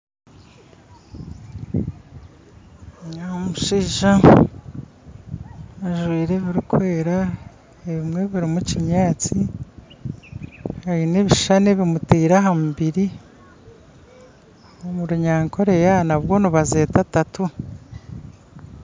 N'omushaija ajwaire ebirukwera ebimwe birumu kinyantsi aine ebishushani ebimutire ahamubiri omurunyankore Yaba nabwo nibazeta tattoo.